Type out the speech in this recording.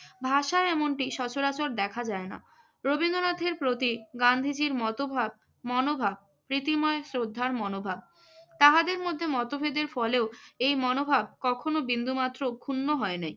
ভাষায় এমনটি সচরাচর দেখা যায় না। রবীন্দ্রনাথের প্রতি গান্ধীজীর মতবাদ~ মনোভাব প্রীতিময় শ্রদ্ধার মনোভাব। তাহাদের মধ্যে মতভেদের ফলেও এই মনোভাব কখনো বিন্দুমাত্র ক্ষুণ্ণ হয় নাই।